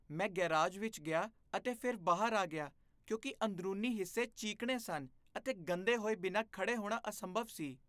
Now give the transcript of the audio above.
ਮੈਂ ਗੈਰਾਜ ਵਿੱਚ ਗਿਆ ਅਤੇ ਫਿਰ ਬਾਹਰ ਆ ਗਿਆ ਕਿਉਂਕਿ ਅੰਦਰੂਨੀ ਹਿੱਸੇ ਚੀਕਣੇ ਸਨ ਅਤੇ ਗੰਦੇ ਹੋਏ ਬਿਨਾਂ ਖੜ੍ਹੇ ਹੋਣਾ ਅਸੰਭਵ ਸੀ।